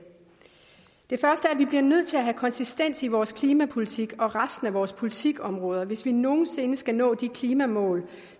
det første at vi bliver nødt til at have konsistens i vores klimapolitik og resten af vores politikområder hvis vi nogen sinde skal nå de klimamål